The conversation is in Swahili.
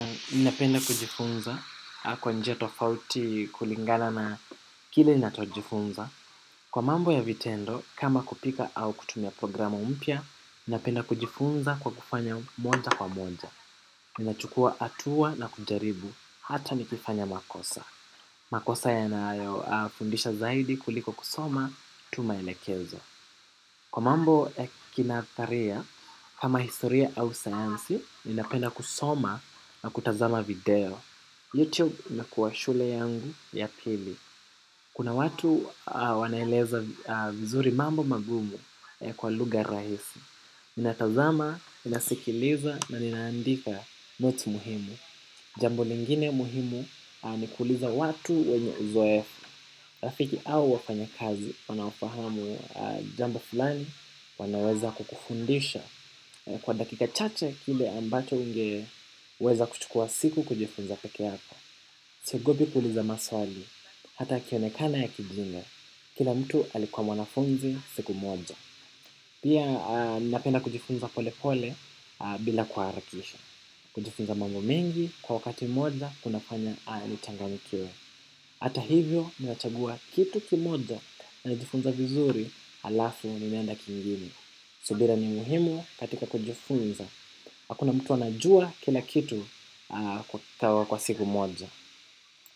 Minapenda kujifunza. Kwa njia tofauti kulingana na kile inatojifunza. Kwa mambo ya vitendo kama kupika au kutumia programa mpia. Minapenda kujifunza kwa kufanya monja kwa monja. Minachukua atua na kujaribu hata nikifanya makosa. Makosa ya nayo afundisha zaidi kuliko kusoma tumelekezwa, kwa mambo ya kinadharia kama historia au sayansi ninapenda kusoma na kutazama video youtube inakuwa shule yangu ya pili. Kuna watu wanaeleza vizuri mambo magumu kwa luga rahisi. Ninatazama, minasikiliza na ninaandika motu muhimu jambo lingine muhimu ni kuuliza watu wenye uzoefu. Rafiki au wafanya kazi wanaofahamu jambo fulani wanaweza kukufundisha. Kwa dakika chache kile ambacho ungeweza kuchukua siku kujifunza peke yako. Siogopi kuliza maswali, hata kionekana ya kijinga, kila mtu alikuwa mwanafunzi siku moja. Pia napenda kujifunza pole pole bila kwa harakisha. Kujifunza mambo mengi, kwa wakati moja, kuna fanya alitanganikiwe. Hata hivyo, mimj nachagua kitu kimoja najifunza vizuri, alafu ninaenda kingine. Subira ni muhimu katika kujifunza, hakuna mtu anajua kila kitu kwa siku moja.